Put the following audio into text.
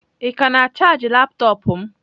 Ị ka na-ana chaajị laptọọpụ m?